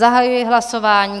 Zahajují hlasování.